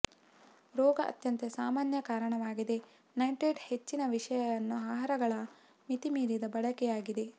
ರೋಗ ಅತ್ಯಂತ ಸಾಮಾನ್ಯ ಕಾರಣವಾಗಿದೆ ನೈಟ್ರೈಟ್ ಹೆಚ್ಚಿನ ವಿಷಯವನ್ನು ಆಹಾರಗಳ ಮಿತಿಮೀರಿದ ಬಳಕೆ ಆಗಿದೆ